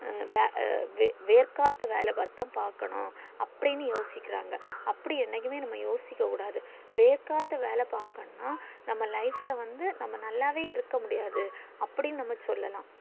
ஹம் வே வேர்க்கத்தா வேலை பாத்து தான் பாக்கணும் அப்டின்னு யோசிகிராங்க அப்டி என்னைக்குமே யோசிக்க முடியாது வேர்க்கத்தா வேலை பாக்கனும்ன்னா நம்ம life ல வந்து நம்ம நல்லவே இருக்க முடியாது அப்டின்னு நம்ம சொல்லலாம்